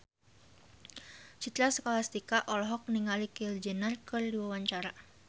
Citra Scholastika olohok ningali Kylie Jenner keur diwawancara